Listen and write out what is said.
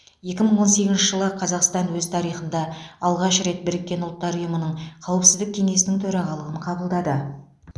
екі мың он сегізінші жылы қазақстан өз тарихында алғаш рет біріккен ұлттар ұйымының қауіпсіздік кеңесінің төрағалығын қабылдады